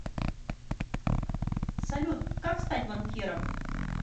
салют как стать банкиром